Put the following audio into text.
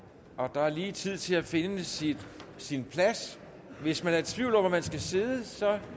der er lige tid til at finde sin sin plads hvis man er i tvivl om hvor man skal sidde så